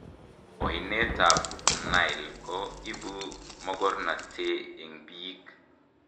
Oinee ab Nile ko ibu mokornotee eng biiik